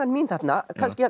mín þarna